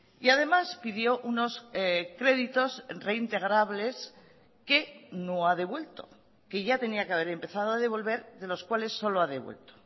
y además pidió unos créditos reintegrables que no ha devuelto que ya tenía que haber empezado a devolver de los cuales solo ha devuelto